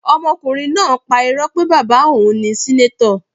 Ọmọkùnrin náà pá Irọ́ pé bàbá òun ni senator.